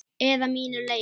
Eða mínu leyfi.